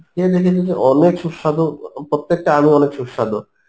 খেয়ে দেখেছি যে অনেক সুস্বাদু প্রত্যেকটা আমই অনেক সুস্বাদু